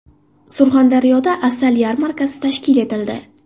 Surxondaryoda asal yarmarkasi tashkil etildi.